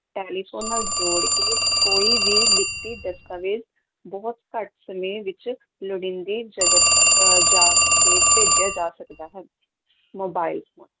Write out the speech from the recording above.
telephone ਨਾਲ ਜੋੜ ਕੇ ਕੋਈ ਵੀ ਲਿਖਤੀ ਦਸਤਾਵੇਜ਼ ਬਹੁਤ ਘੱਟ ਸਮੇਂ ਵਿੱਚ ਲੋੜੀਂਦੀ ਜਗਤ ਅਹ ਜਾਗ ਤੇ ਭੇਜਿਆ ਜਾ ਸਕਦਾ ਹੈ, ਮੋਬਾਈਲ ਫੋਨ